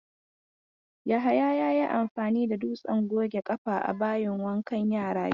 Yahaya ya yi amfani da dutsen goge ƙafa a bayin wankan yara jiya.